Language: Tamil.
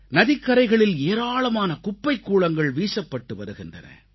நதிக்கரைகளில் ஏராளமான குப்பைக்கூளங்கள் வீசப்பட்டு வருகின்றன